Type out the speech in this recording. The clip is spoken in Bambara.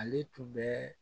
Ale tun bɛ